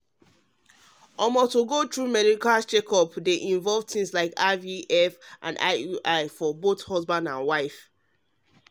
to go through medical um checkup dey involve things like ivf and um iui for both husband and wife um true talk ohh